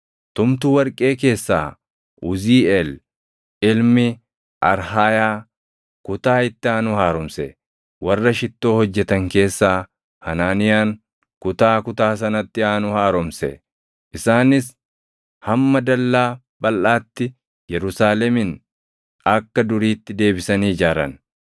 Tumtuu warqee keessaa Uziiʼeel ilmi Harhayaa kutaa itti aanu haaromse. Warra Shittoo hojjetan keessaa Hanaaniyaan kutaa kutaa sanatti aanu haaromse. Isaanis hamma Dallaa Balʼaatti Yerusaalemin akka duriitti deebisanii ijaaran.